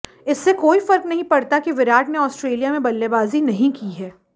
इससे कोई फर्क नहीं पड़ता कि विराट ने ऑस्ट्रेलिया में बल्लेबाजी नहीं की है